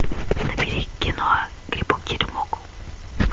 набери кино грибок теремок